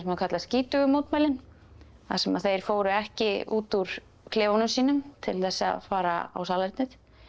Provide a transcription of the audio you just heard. kallað skítugu mótmælin þar sem þeir fóru ekki út úr klefunum sínum til þess að fara á salernið